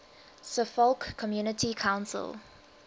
suffolk community council